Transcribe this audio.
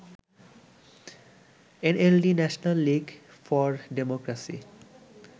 NLD National League for democracy